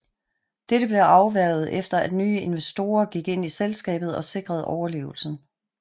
Dette blev afværget efter at nye investorer gik ind i selskabet og sikrede overlevelsen